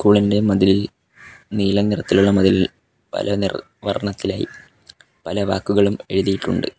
School ഇന്റെ മതിലിൽ നീല നിറത്തിലുള്ള മതിലിൽ പല നിറ വർണ്ണത്തിലായ് പല വാക്കുകളും എഴുതിയിട്ടുണ്ട്.